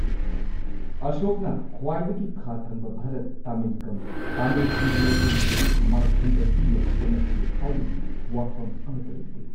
ꯑꯁꯣꯛꯅ ꯈ꯭ꯋꯥꯏꯗꯒꯤ ꯈꯥ ꯊꯪꯕ ꯚꯥꯔꯠ ꯇꯥꯃꯤꯜꯀꯥꯝ ꯇꯥꯃꯤꯜꯁꯤꯡꯒꯤ ꯂꯩꯐꯝ ꯑꯁꯤ ꯃꯥꯏꯊꯤꯕ ꯄꯤꯅꯕ ꯍꯣꯠꯅꯈꯤ ꯍꯥꯏꯕꯒꯤ ꯋꯥꯐꯝ ꯑꯃꯠꯇ ꯂꯩꯇꯦ꯫